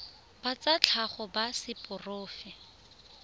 ba tsa tlhago ba seporofe